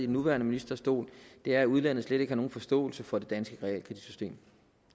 nuværende ministers stol er at udlandet slet ikke har nogen forståelse for det danske realkreditsystem